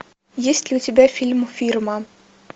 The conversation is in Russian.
есть ли у тебя фильм фирман